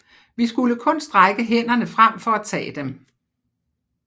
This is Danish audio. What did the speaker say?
Vi skulle kun strække hænderne frem for at tage dem